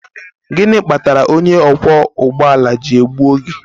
Gịnị kpatara onye ọkwọ ụgbọ ala ji egbu oge?